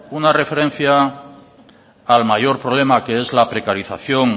una referencia al mayor problema que es la precarización